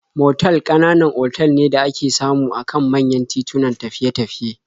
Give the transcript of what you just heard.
Motal ƙananan otal ne da ake samu a kan manyan titunan tafiye-tafiye.